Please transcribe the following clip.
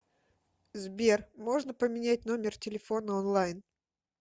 сбер можно поменять номер телефона онлайн